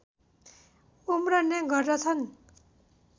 उम्रने गर्दछन्